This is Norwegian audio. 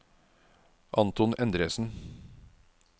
Anton Endresen